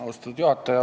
Austatud juhataja!